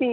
ਮੈਂ